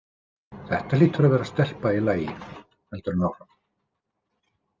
Þetta hlýtur að vera stelpa í lagi, heldur hann áfram.